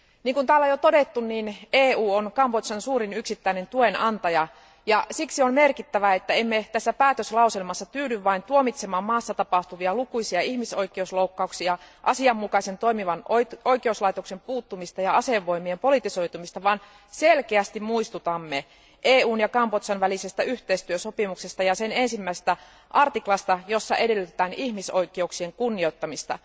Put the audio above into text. Kuten täällä on jo todettu, EU on Kambodžan suurin yksittäinen tuenantaja ja siksi on merkittävää, että emme tässä päätöslauselmassa tyydy vain tuomitsemaan maassa tapahtuvia lukuisia ihmisoikeusloukkauksia, asianmukaisen toimivan oikeuslaitoksen puuttumista ja asevoimien politisoitumista, vaan selkeästi muistutamme EUn ja Kambodžan välisestä yhteistyösopimuksesta ja sen ensimmäisestä artiklasta, jossa edellytetään ihmisoikeuksien kunnioittamista.